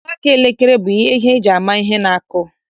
Mgbaaka elekere bụ ihe eji-amara ihe na-akụ.